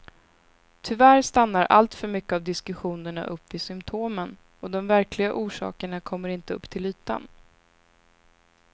Tyvärr stannar alltför mycket av diskussionerna upp vid symtomen och de verkliga orsakerna kommer inte upp till ytan.